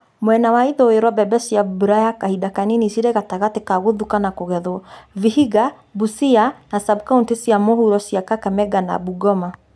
Mwena wa ithũĩro mbembe cia mbura ya kahinda kanini cirĩ gatagatĩ ka gũthuka na kũgethwo Vihiga, Busia , na sab-kauntĩ cia mũhuro cia Kakamega na Bungoma